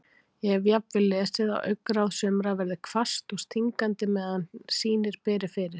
Ég hef jafnvel lesið að augnaráð sumra verði hvasst og stingandi meðan sýnir beri fyrir.